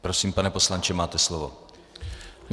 Prosím, pane poslanče, máte slovo.